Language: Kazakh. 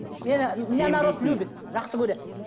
народ любит жақсы көреді